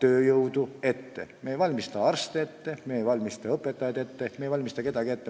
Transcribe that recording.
Me ei valmista mujale minekuks arste ette, me ei valmista selleks õpetajaid ette, me ei valmista selleks kedagi ette.